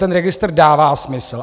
Ten registr dává smysl.